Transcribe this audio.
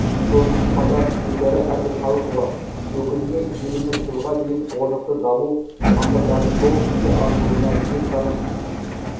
сонымен қатар гүлшара әбдіқалықова өкіліне еліміз жылға дейін орнықты даму мақсаттарының толық іске асырылуына ниет танып